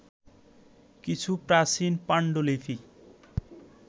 কিছু প্রাচীন পাণ্ডুলিপি